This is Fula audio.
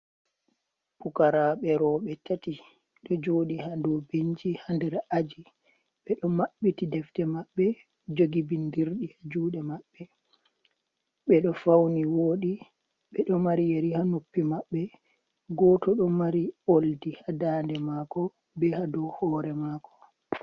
Pukaraaɓe roɓe tati ɗo joɗi ha dou benci ha nder aji, ɓe ɗo maɓɓiti defte maɓɓe, jogi bindirɗi haa juɗe maɓɓe, ɓedo fauni woɗi, ɓe ɗo mari yeri haa noppi maɓɓe goto do mari oldi haa daande maako be haa dou hore maako.